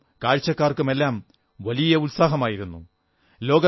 കളിക്കാർക്കും കാഴ്ചക്കാർക്കുമെല്ലാം വലിയ ഉത്സാഹമായിരുന്നു